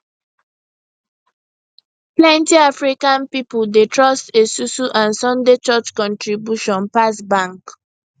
plenty african pipo dey trust esusu and sunday church contribution pass bank